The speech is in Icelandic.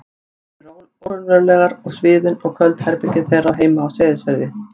eyjarnar álíka óraunverulegar og sviðin og köld herbergin þeirra heima á Seyðisfirði.